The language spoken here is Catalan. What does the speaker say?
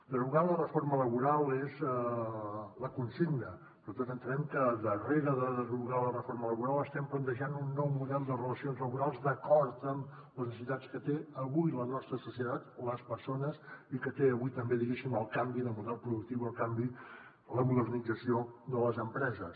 derogar la reforma laboral és la consigna però tots entenem que darrere de derogar la reforma laboral estem plantejant un nou model de relacions laborals d’acord amb les necessitats que té avui la nostra societat les persones i que té avui també diguéssim el canvi de model productiu el canvi la modernització de les empreses